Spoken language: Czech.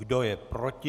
Kdo je proti?